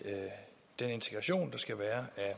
den integration der skal være af